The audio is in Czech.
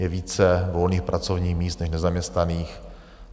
Je více volných pracovních míst než nezaměstnaných.